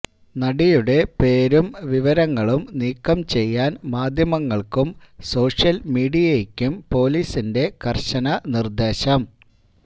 നടിയുടെ പേരും വിവരങ്ങളും നീക്കം ചെയ്യാന് മാധ്യമങ്ങള്ക്കും സോഷ്യല് മീഡിയക്കും പൊലീസിന്റെ കര്ശന നിര്ദേശം